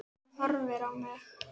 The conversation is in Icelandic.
Hún horfir á mig.